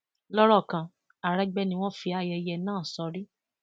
lọrọ kan àrégbé ni wọn fi ayẹyẹ náà sórí